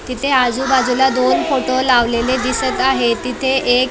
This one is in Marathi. तिथे आजूबाजूला दोन फोटो लावलेले दिसत आहेत तिथे एक --